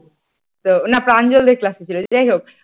না প্রাঞ্জল দের class ছিল যাইহোক ।